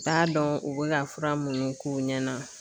T'a dɔn u be ka fura munnu k'u ɲɛna